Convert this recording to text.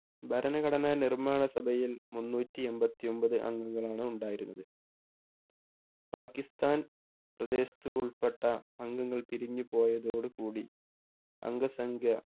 ഭരണഘടനാ നിർമ്മാണ സഭയിൽ മുന്നൂറ്റി അമ്പത്തി ഒമ്പത് അംഗങ്ങളാണ് ഉണ്ടായിരുന്നത് പാക്കിസ്ഥാൻ പ്രദേശത്തു ഉൾപ്പെട്ട അംഗങ്ങൾ പിരിഞ്ഞു പോയതോടു കൂടി അംഗസംഖ്യ